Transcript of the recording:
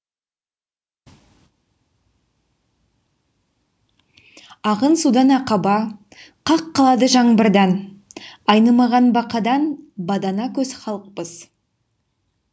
ағын судан ақаба қақ қалады жаңбырдан айнымаған бақадан бадана көз халықпыз